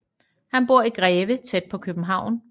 Han bor i Greve tæt på København